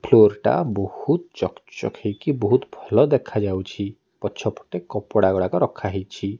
Floor ଟା ବହୁତ୍ ଚକ୍ ଚକ୍ ହୋଇକି ବହୁତ୍ ଭଲ ଦେଖାଯାଉଛି ପଛପେଟ କପଡାଗୁଡାକ ରଖାହେଇଛି।